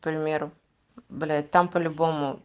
к примеру блять там по любому